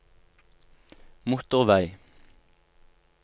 motorvei